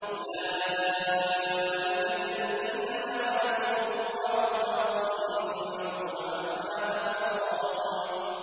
أُولَٰئِكَ الَّذِينَ لَعَنَهُمُ اللَّهُ فَأَصَمَّهُمْ وَأَعْمَىٰ أَبْصَارَهُمْ